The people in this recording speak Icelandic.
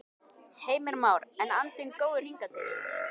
Heimir Már: En andinn góður hingað til?